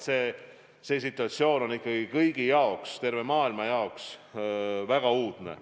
See situatsioon on ikkagi kõigi jaoks, terve maailma jaoks väga uudne.